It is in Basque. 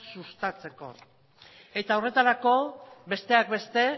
sustatzeko eta horretarako besteak beste